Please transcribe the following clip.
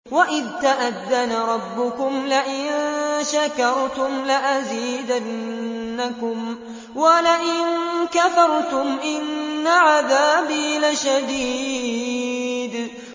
وَإِذْ تَأَذَّنَ رَبُّكُمْ لَئِن شَكَرْتُمْ لَأَزِيدَنَّكُمْ ۖ وَلَئِن كَفَرْتُمْ إِنَّ عَذَابِي لَشَدِيدٌ